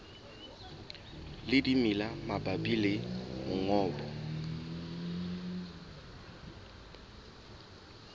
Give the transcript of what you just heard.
le dimela mabapi le mongobo